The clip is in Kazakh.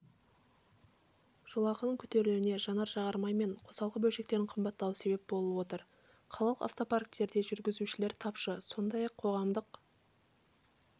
жолақының көтерілуіне жанар-жағармай мен қосалқы бөлшектердің қымбаттауы себеп болып отыр қалалық автопарктерде жүргізушілер тапшы сондай-ақ қоғамдық